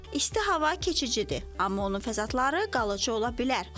İsti hava keçicidir, amma onun fəsadları qalıcı ola bilər.